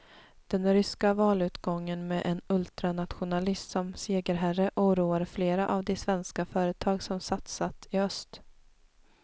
Den ryska valutgången med en ultranationalist som segerherre oroar flera av de svenska företag som satsat i öst.